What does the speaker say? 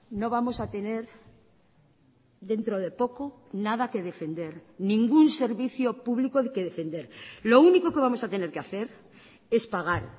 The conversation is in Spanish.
no vamos a tener dentro de poco nada que defender ningún servicio público que defender lo único que vamos a tener que hacer es pagar